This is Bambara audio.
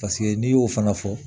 Paseke n'i y'o fana fɔ